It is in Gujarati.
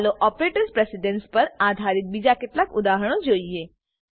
ચાલો ઓપરેટર્સ પ્રેસીડન્સ પર આધારિત બીજા કેટલાક ઉદાહરણો જોઈએ